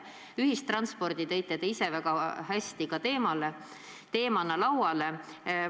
Ühistranspordi tõite te ise ka teemana lauale.